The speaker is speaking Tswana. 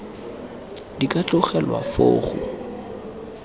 di ka tlogelwa foo go